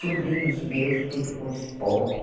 Sobrinhos meus, tudo com esporte.